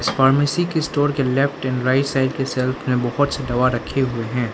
इस फार्मेसी के स्टोर के लेफ्ट एंड राइड साइड के शेल्फ में बहुत सी दवा रखी हुई है।